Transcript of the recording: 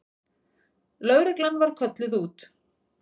Lögreglan var kölluð út.